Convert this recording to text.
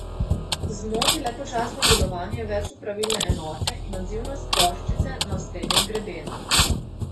Zmoti le počasno delovanje večopravilne enote in odzivnost ploščice na osrednjem grebenu.